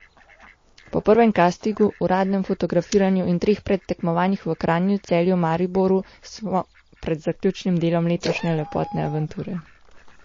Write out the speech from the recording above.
Po prvem kastingu, uradnem fotografiranju in treh predtekmovanjih v Kranju, Celju in Mariboru smo pred zaključnim delom letošnje lepotne avanture.